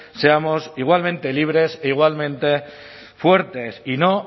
seamos igualmente libres e igualmente fuertes y no